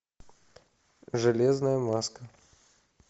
железная маска